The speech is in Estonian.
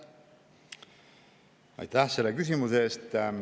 Aitäh selle küsimuse eest!